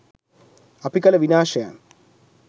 අපි කළ විනාශයන්